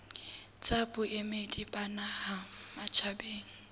tsa boemedi ba naha matjhabeng